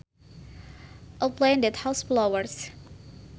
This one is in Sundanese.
A plant that has flowers